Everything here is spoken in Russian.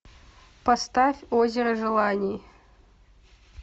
поставь озеро желаний